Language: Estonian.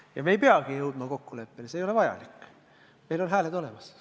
Ja me ei peagi jõudma kokkuleppele, see ei ole vajalik, meil on hääled olemas.